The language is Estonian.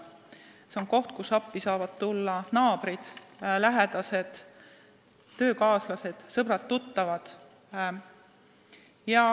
See on koht, kus appi saavad tulla naabrid, lähedased, töökaaslased, sõbrad-tuttavad.